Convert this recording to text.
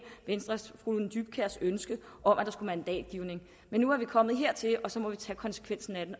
venstres fru lone dybkjærs ønske om mandatgivning men nu er vi kommet hertil og så må vi tage konsekvensen af